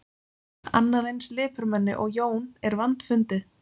Annað eins lipurmenni og Jón er vandfundið.